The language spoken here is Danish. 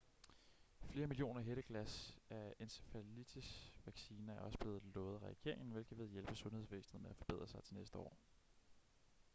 flere millioner hætteglas af encefalitis-vacciner er også blevet lovet af regeringen hvilket vil hjælpe sundhedsvæsenet med at forberede sig til næste år